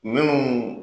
Minnu